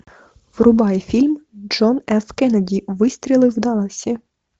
врубай фильм джон ф кеннеди выстрелы в далласе